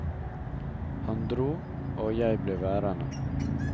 Han dro, og jeg ble værende.